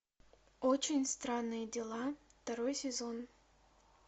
очень странные дела второй сезон